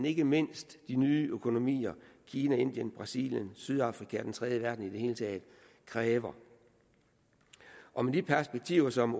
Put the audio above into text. ikke mindst de nye økonomier kina indien brasilien sydafrika og den tredje verden i det hele taget kræver og med de perspektiver som